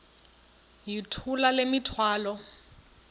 yithula le mithwalo